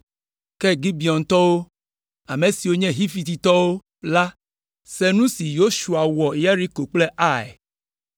Ke Gibeontɔwo, ame siwo nye Hivitɔwo la se nu si Yosua wɔ Yeriko kple Ai.